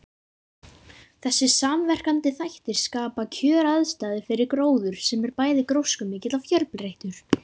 Þessir samverkandi þættir skapa kjöraðstæður fyrir gróður sem er bæði gróskumikill og fjölbreyttur.